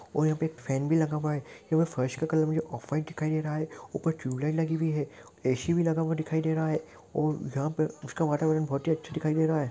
और यहाँ पे फैन भी लगा हुआ है और यहाँ पे फर्श का कलर मुझे ऑफ वाइट दिखाई दे रहा है उपर टियूबलाइट लगी हुई है ऐ_सी भी लगा हुआ दिखाई दे रहा है और यहाँ पे उसका वातावरण बहुत ही अच्छा दिखाई दे रहा है।